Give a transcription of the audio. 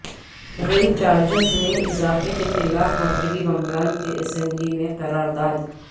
rail charges میں اضافہ کے خلاف مغربی بنگال کے اسمبلی میں قرار داد